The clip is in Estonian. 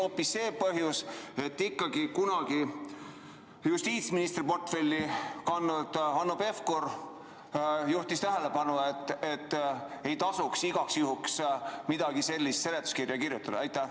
Või oli põhjus hoopis selles, et kunagi justiitsministri portfelli kandnud Hanno Pevkur juhtis tähelepanu, et igaks juhuks ei tasu midagi sellist seletuskirja kirjutada?